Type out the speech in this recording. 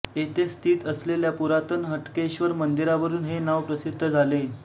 येथे स्थित असलेल्या पुरातन हट्केश्वर मंदिरावरून हे नाव प्रसिद्ध झाले